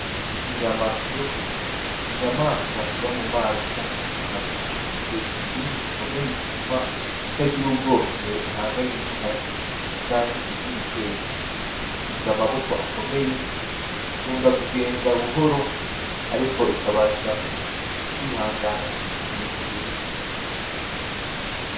Ikinyamasyo n'inyamaswa iba mu mazi canke ku butaka ifise ikibindi gikomeye gituma itagira ubwoba igihe ihanganye n'inkazi canke igize ibitero. Ifise amaboko akomeye ikunda kugenda buhoro ariko ikabasha kwihangana igihe kirekire.